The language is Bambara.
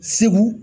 Segu